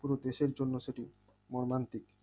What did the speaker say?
পুরো দেশের জন্য সেটি মর্মান্তিক